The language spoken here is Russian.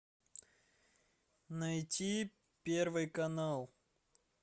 найти первый канал